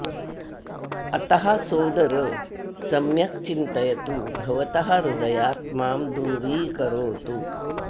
अतः सोदर सम्यक् चिन्तयतु भवतः हृदयात् माम् दूरीकरोतु